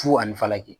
Fu ani falaki